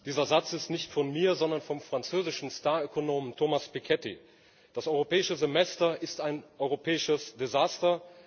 Herr Präsident! Dieser Satz ist nicht von mir, sondern vom französischen Star Ökonomen Thomas Piketty Das Europäische Semester ist ein europäisches Desaster!